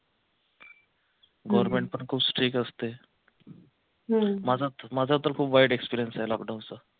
government भरपूर strict असतंय माझा माझा तर खूप वाईट experience आहे लॉकडाऊनचा